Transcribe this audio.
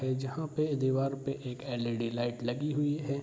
जहां पे दीवार पे एक एल.इ.डी. लाइट लगी हुइ है।